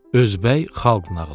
Özbək xalq nağılı.